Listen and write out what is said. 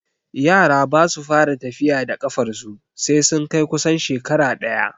Yara basu fara tafiya da ƙafarsu sai sun kai kusan shekara ɗaya